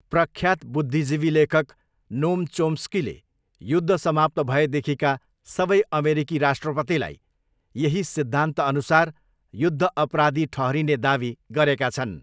प्रख्यात बुद्धिजीवी लेखक नोम चोम्स्कीले युद्ध समाप्त भएदेखिका सबै अमेरिकी राष्ट्रपतिलाई यही सिद्धान्तअनुसार युद्ध अपराधी ठहरिने दावी गरेका छन्।